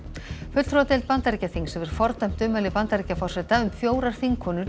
fulltrúadeild Bandaríkjaþings hefur fordæmt ummæli Bandaríkjaforseta um fjórar þingkonur